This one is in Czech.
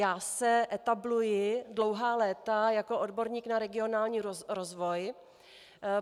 Já se etabluji dlouhá léta jako odborník na regionální rozvoj.